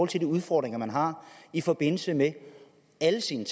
til de udfordringer man har i forbindelse med alle sine